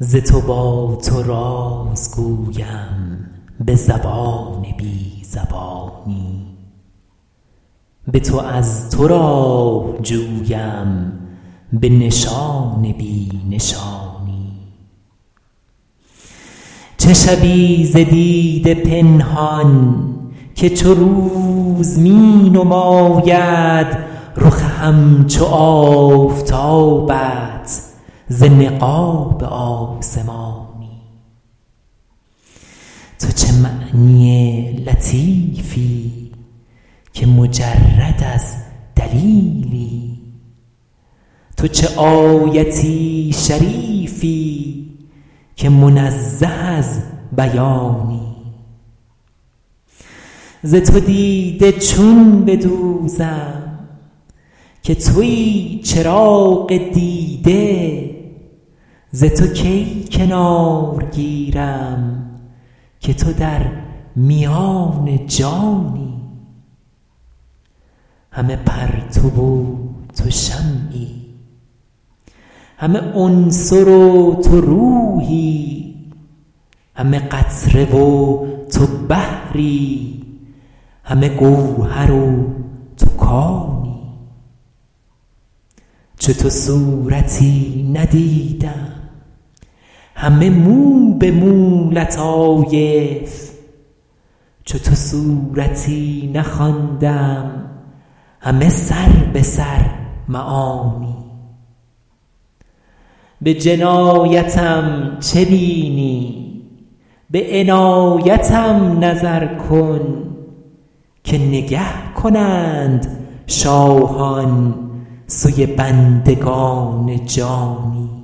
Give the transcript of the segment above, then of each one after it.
ز تو با تو راز گویم به زبان بی زبانی به تو از تو راه جویم به نشان بی نشانی چه شوی ز دیده پنهان که چو روز می نماید رخ همچو آفتابت ز نقاب آسمانی تو چه معنی لطیفی که مجرد از دلیلی تو چه آیت شریفی که منزه از بیانی ز تو دیده چون بدوزم که تویی چراغ دیده ز تو کی کنار گیرم که تو در میان جانی همه پرتو و تو شمعی همه عنصر و تو روحی همه قطره و تو بحری همه گوهر و تو کانی چو تو صورتی ندیدم همه موبه مو لطایف چو تو سورتی نخواندم همه سربه سر معانی به جنایتم چه بینی به عنایتم نظر کن که نگه کنند شاهان سوی بندگان جانی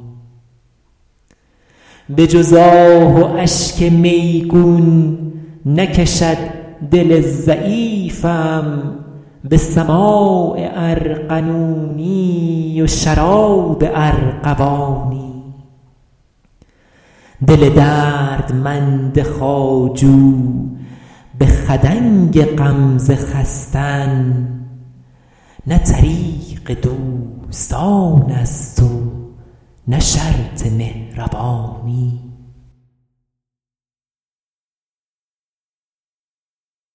به جز آه و اشک میگون نکشد دل ضعیفم به سماع ارغنونی و شراب ارغوانی دل دردمند خواجو به خدنگ غمزه خستن نه طریق دوستانست و نه شرط مهربانی